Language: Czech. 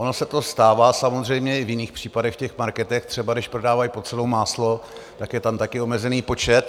Ono se to stává samozřejmě i v jiných případech, v těch marketech, třeba když prodávají pod cenou máslo, tak je tam taky omezený počet.